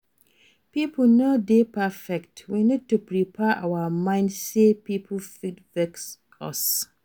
Pipo no dey perfect, we need to prepare our mind sey pipo fit vex us